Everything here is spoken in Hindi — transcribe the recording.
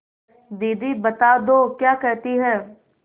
दीदी बता दो क्या कहती हैं